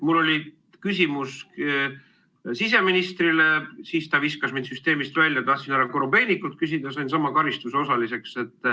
Mul oli küsimus siseministrile, siis ta viskas mind süsteemist välja, tahtsin härra Korobeinikult küsida, sain sama karistuse osaliseks.